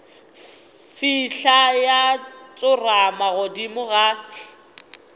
fihla ya tsorama godimo ga